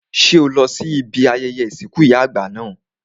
Ṣé o lọ sí ibi ayẹyẹ ìsìnkú ìyá àgbà náà?